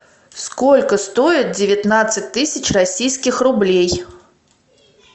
сколько стоит девятнадцать тысяч российских рублей